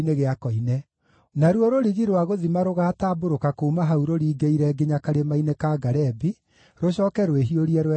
Naruo rũrigi rwa gũthima rũgaatambũrũka kuuma hau rũringĩrĩire nginya karĩma-inĩ ka Garebi, rũcooke rwĩhiũrie rwerekere Goa.